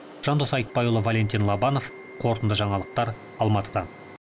жандос айтбайұлы валентин лобанов қорытынды жаңалықтар алматыдан